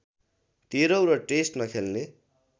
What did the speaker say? तेह्रौँ र टेस्ट नखेल्ने